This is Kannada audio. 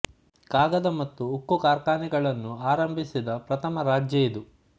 ಕಾಗದ ಮತ್ತು ಉಕ್ಕು ಕಾರ್ಖಾನೆಗಳನ್ನು ಆರಂಭಿಸಿದ ಪ್ರಥಮ ರಾಜ್ಯ ಇದು